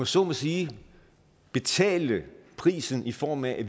så må sige betale prisen i form af at